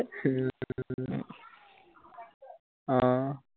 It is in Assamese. আহ